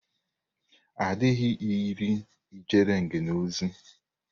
A dịghị iri ejere ngènè ozi.